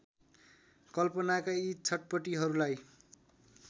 कल्पनाका यी छटपटीहरूलाई